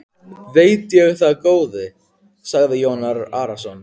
Veit ég það góði, sagði Jón Arason.